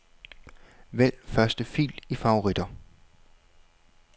Vælg første fil i favoritter.